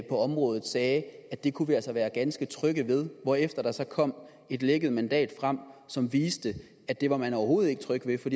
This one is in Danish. området sagde at det kunne vi altså være ganske trygge ved hvorefter der så kom et lækket mandat frem som viste at det var man overhovedet ikke tryg ved for